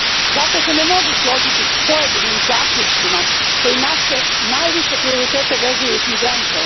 Zato se ne mogu složiti s pojedinim zaključcima koji naše najviše prioritete vezuju uz migrante.